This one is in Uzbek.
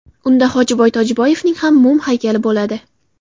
Unda Hojiboy Tojiboyevning ham mum haykali bo‘ladi .